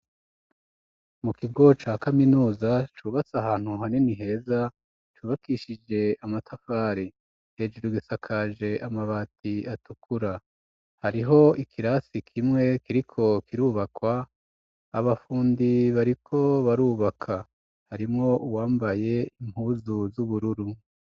Mu kigo ca kaminuza cubatse ahantu hanini heza cubakishije amatafari, hejuru gisakaje amabati atukura, hariho ikirasi kimwe kiriko kirubakwa abafundi bariko barubaka, harimwo uwambaye impuzu z'ubururu.